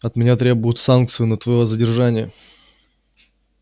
от меня требуют санкцию на твоё задержание